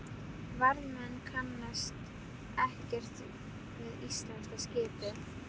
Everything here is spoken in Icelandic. Varðmenn kannast ekkert við íslenska skipið.